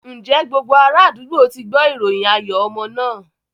Ǹjẹ́ gbogbo ara àdúgbò ti gbọ́ ìròyìn ayọ̀ ọmọ náà?